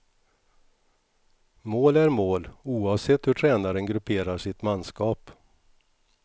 Mål är mål oavsett hur tränaren grupperar sitt manskap.